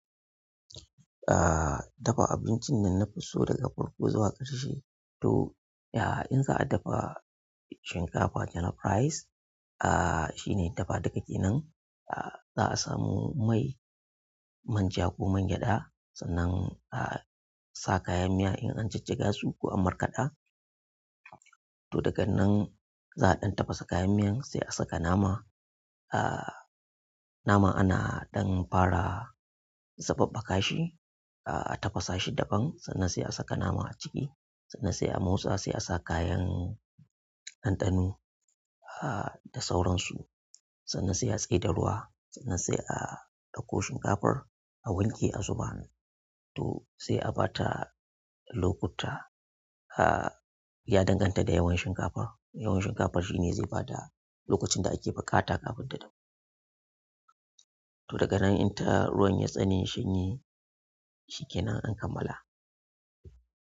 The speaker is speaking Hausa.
Ah, dafa abincin da nafi so daga farko zuwa ƙarshe. To, ya'a in za a dafa shinkafa, jollof rice, ah shine dafa dika kenan. Ah, za a samu mai manja ko mangyaɗa, sannan a sa kayan miya in an jajjaga su ko an markaɗa. To daga nan za a ɗan tafasa kayan miyan, sai a saka nama. Ah, naman ana ɗan fara zababbaka shi, a tafasa shi daɓan sannan sai a saka naman a ciki. Sannan sai a motsa sai a sa kayan ɗanɗano ah da sauransu. Sannan sai a tsai da ruwa, sannan sai a ɗauko shinkafar a wanke a zuba. To sai a bata lokuta ah, ya danganta da yawan shinkafar. Yawan shinkafar shine zai bada lokacin da ake buƙata kafin ta dahu. To daga nan in ta, ruwan ya tsane, ya shanye shi kenan an kammala.